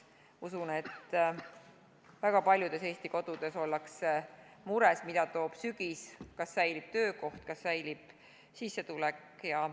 Ma usun, et väga paljudes Eesti kodudes ollakse mures, mida toob sügis, kas säilib töökoht, kas säilib sissetulek.